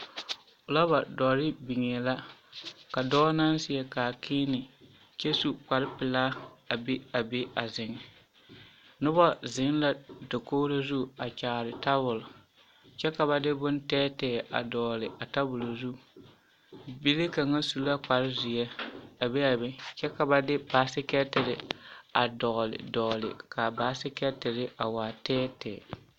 Filaawa dɔre biŋee la ka dɔɔ naŋ seɛ kaakiini kyɛ su kpare pelaa a be a be a zeŋ, noba zeŋ la dakogiri zu a kyaare tabol kyɛ ka ba de bontɛɛtɛɛ a dɔgele a tabol zu, bibile kaŋ su la kpare zeɛ a be a be kyɛ ka ba de basikɛɛtere a dɔgele dɔgele k'a basikɛɛtere a waa tɛɛtɛɛ.